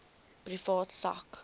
privaat sak